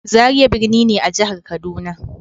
Zaria birni ne a jihar Kaduna.